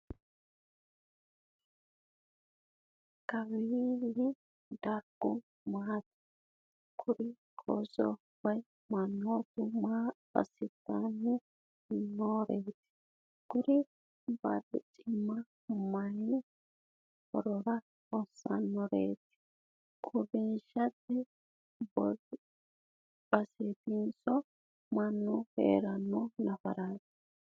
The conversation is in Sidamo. kawii dargu mamaati? kuri ooso woyi mannootu maa assitanni noreeti? kuri barricimmano maayi horora hossannoreeti? uurrinshate baseetinso mannu heeranno nafaraati?